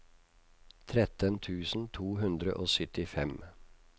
tretten tusen to hundre og syttifem